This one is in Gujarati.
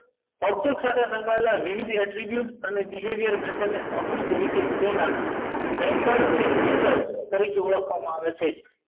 object સાથે વિવિધ ને તમને આમલી તરીકે તેમાં નંબર કેસેટ તરીકે ઓળખવામાં આવે છે